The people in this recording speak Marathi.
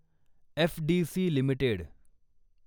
FDC limited